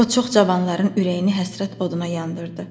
O çox cavanların ürəyini həsrət oduna yandırdı.